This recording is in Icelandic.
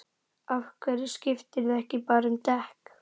Af hverju skiptirðu ekki bara um dekk?